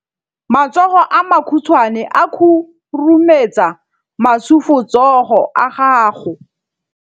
Matsogo a makhutshwane a khurumetsa masufutsogo a gago.